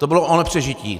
To bylo o nepřežití.